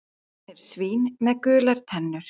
Hann er svín með gular tennur.